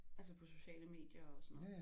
Altså på sociale medier og sådan noget